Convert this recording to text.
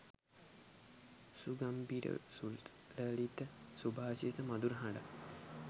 සුගම්භිර සුලලිත සුභාෂිත මධුර හඬක්